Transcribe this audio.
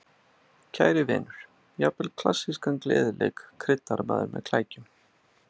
Kæri vinur, jafnvel klassískan gleðileik kryddar maður með klækjum